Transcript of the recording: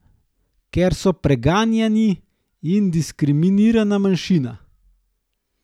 Ker so preganjani in diskriminirana manjšina.